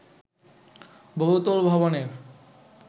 বহুতল ভবনের